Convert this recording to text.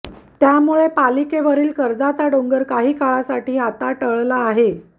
त्यामुळे पालिकेवरील कर्जाचा डोंगर काही काळासाठी आता टळला आहे